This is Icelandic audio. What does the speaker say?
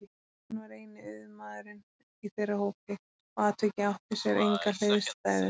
Hann var eini auðmaðurinn í þeirra hópi og atvikið átti sér enga hliðstæðu.